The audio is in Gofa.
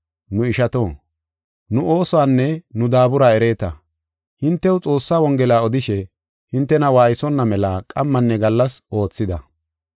Nu ishato, nu oosuwanne nu daabura ereeta. Hintew Xoossaa Wongela odishe, hintena waaysonna mela qammanne gallas oothida.